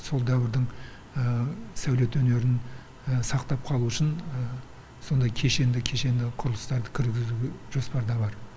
сол дәуірдің сәулет өнерін сақтап қалу үшін сондай кешенді құрылыстарды кіргізу жоспарда бар